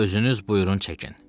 Özünüz buyurun çəkin.